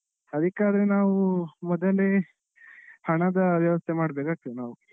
ಅದಿಕ್ಕಾದ್ರೆ ನಾವು ಮೊದಲೇ ಹಣದ ವ್ಯವಸ್ಥೆ ಮಾಡಬೇಕಾಗ್ತದೆ ನಾವು.